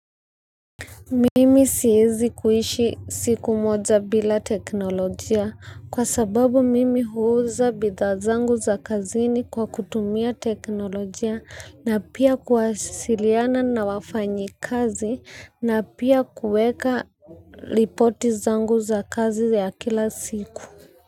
Mimi siwezi kuishi siku moja bila teknolojia kwa sababu mimi huuza bidhaa zangu za kazini kwa kutumia teknolojia na pia kuwasiliana na wafanyikazi na pia kuweka ripoti zangu za kazi ya kila siku.